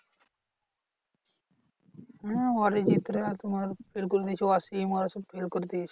হম অরিজিৎরা তোমার হচ্ছে ওয়াসিম ওরা সব fail করেছে।